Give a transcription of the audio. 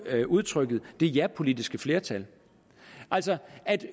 udtrykket det japolitiske flertal altså at